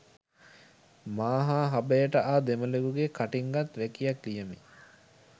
මා හා හබයට ආ දෙමළෙකුගේ කටින් ගත් වැකියක් ලියමි